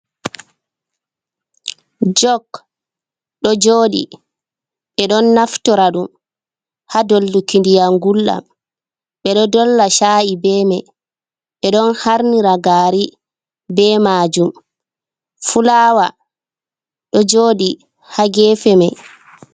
Jok ɗo jooɗi, ɓe ɗon naftora ɗum haa dolluki ndiyam ngulɗam, ɓe ɗo dolla caa’i be may, ɓe ɗon harnira gaari be maajum. Fulaawa ɗo jooɗi haa geefe may.